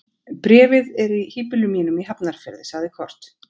Bréfið er í híbýlum mínum í Hafnarfirði, sagði Kort.